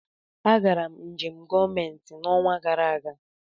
Agara m njem gọọmentị n'ọnwa gara aga.